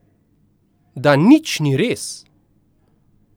Da nič ni res.